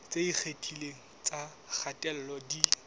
tse ikgethileng tsa kgatello di